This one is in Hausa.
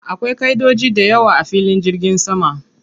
Akwai ƙaʼidodoji dayawa a filin jirgin sama.